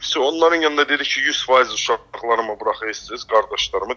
Vsyo, onların yanında dedi ki, 100% uşaqlarımı buraxırsınız, qardaşlarımı.